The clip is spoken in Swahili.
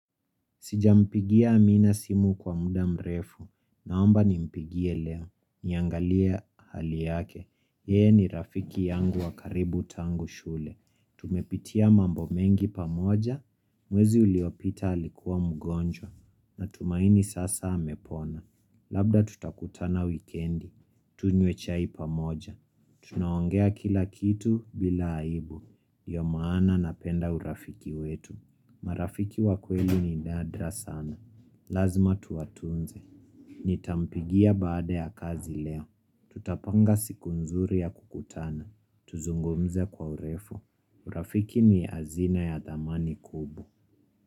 Sijampigia amina simu kwa muda mrefu. Naomba nimpigie leo. Niangalie hali yake. Yeye ni rafiki yangu wa karibu tangu shule. Tumepitia mambo mengi pamoja. Mwezi uliopita alikuwa mgonjwa. Natumaini sasa amepona. Labda tutakutana wikendi. Tunywe chai pamoja. Tunaongea kila kitu bila aibu. Ndio maana napenda urafiki wetu. Marafiki wa kweli ni nadra sana. Lazima tuwatunze. Nitampigia baada ya kazi leo. Tutapanga siku nzuri ya kukutana. Tuzungumze kwa urefu. Urafiki ni azina ya dhamani kubwa.